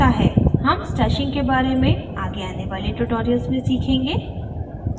हम stashing के बारे में आगे आने वाले tutorials में सीखेंगे